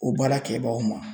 O baara kɛbagaw ma.